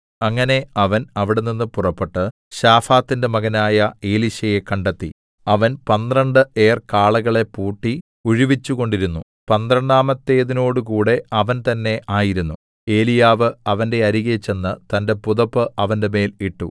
അങ്ങനെ അവൻ അവിടെനിന്ന് പുറപ്പെട്ട് ശാഫാത്തിന്റെ മകനായ എലീശയെ കണ്ടെത്തി അവൻ പന്ത്രണ്ട് ഏർ കാളകളെ പൂട്ടി ഉഴുവിച്ചുകൊണ്ടിരുന്നു പന്ത്രണ്ടാമത്തേതിനോടുകൂടെ അവൻ തന്നേ ആയിരുന്നു ഏലീയാവ് അവന്റെ അരികെ ചെന്ന് തന്റെ പുതപ്പ് അവന്റെമേൽ ഇട്ടു